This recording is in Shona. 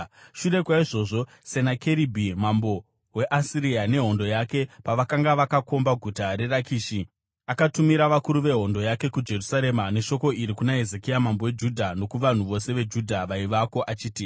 Shure kwaizvozvo, Senakeribhi mambo weAsiria nehondo yake pavakanga vakakomba guta reRakishi, akatumira vakuru vehondo yake kuJerusarema neshoko iri kuna Hezekia mambo weJudha nokuvanhu vose veJudha vaivako achiti: